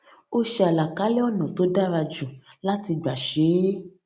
ó ṣe àlàkalẹ ònà tó dára jù láti gbà ṣe é